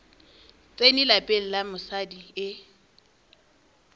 tsene lapeng la mosadi e